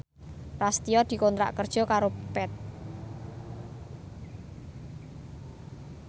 Prasetyo dikontrak kerja karo Path